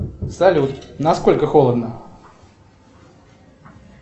салют насколько холодно